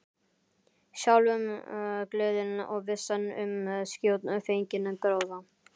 Sjálfumgleðin og vissan um skjótfenginn gróða.